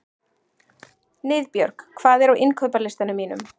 Niðbjörg, hvað er á innkaupalistanum mínum?